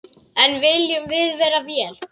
En viljum við vera vél?